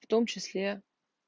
в том числе